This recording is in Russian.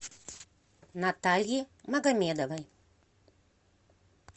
натальи магомедовой